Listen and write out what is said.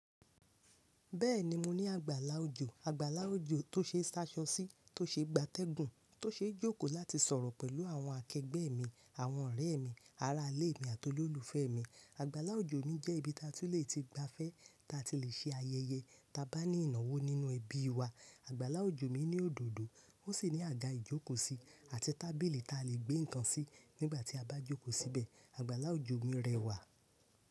Bẹ́ẹ̀ni mo ní àgbàlá òjò, àgbàlá òjò tó ṣe ṣaṣọ sí, tó ṣe gbá atẹ́gùn, tó ṣe jókòó láti sọ̀rọ̀ pẹ̀lú àwọn akẹẹgbẹ́ mi, àwọn ọ̀rẹ́ mi, ará ilé mi àti olólùfẹ́ mi. Àgbàlá òjò mi jẹ́ ibi ta tí lè ti gbafẹ́, ta tí lè ṣe ayẹyẹ ta bá ní ìnáwó nínú ẹbí wa. Àgbàlá òjò mi ní òdòdó, ó sì ní àga ìjókòó sí àti tábìlì ta lè gbé ǹkan sí nígbà tí a bá jókòó síbẹ̀. Àgbàlá òjò mi rẹwà.